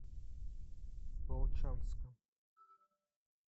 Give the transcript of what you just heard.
волчанском